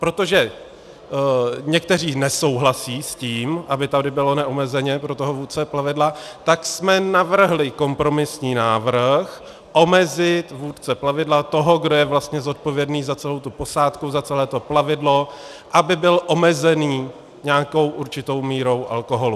Protože někteří nesouhlasí s tím, aby tady bylo neomezeně pro toho vůdce plavidla, tak jsme navrhli kompromisní návrh, omezit vůdce plavidla, toho, kdo je vlastně zodpovědný za celou tu posádku, za celé to plavidlo, aby byl omezený nějakou určitou mírou alkoholu.